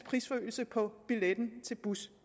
prisforøgelse på billetten til bus